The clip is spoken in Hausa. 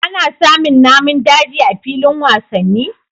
Ana samin Namin daji a filin wasanni